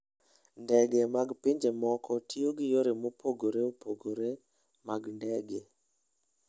Ndege mag pinje moko tiyo gi yore mopogore opogore mag ndege.